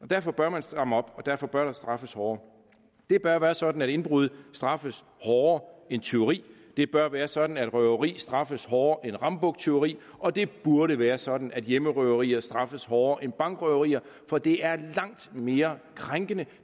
derfor bør man stramme op og derfor bør der straffes hårdere det bør være sådan at indbrud straffes hårdere end tyveri det bør være sådan at røveri straffes hårdere end rambuktyveri og det burde være sådan at hjemmerøverier straffes hårdere end bankrøverier for det er langt mere krænkende